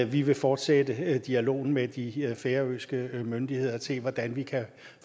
vi vil fortsætte dialogen med de færøske myndigheder og se hvordan vi kan